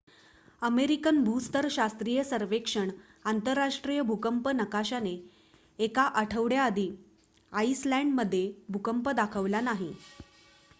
American भूस्तर शास्त्रीय सर्वेक्षण आंतरराष्ट्रीय भूकंप नकाशाने एका आठवड्या आधी आईसलंड मध्ये भूकंप दाखवला नाही